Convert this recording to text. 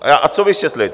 A co vysvětlit?